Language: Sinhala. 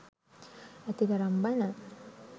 ඇතිතරම් බණ.